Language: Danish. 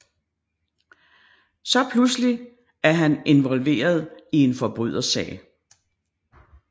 Så pluselig er han indvolveret i en forbrydersag